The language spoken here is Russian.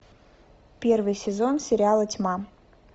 первый сезон сериала тьма